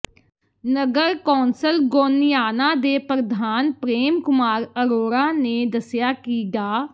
ਨਗਰ council Goniana ਦੇ ਪ੍ਰਧਾਨ ਪ੍ਰੇਮ ਕੁਮਾਰ ਅਰੋੜਾ ਨੇ ਦੱਸਿਆ ਕਿ ਡਾ